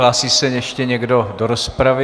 Hlásí se ještě někdo do rozpravy?